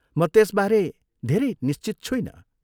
म त्यसबारे धेरै निश्चित छुइनँ।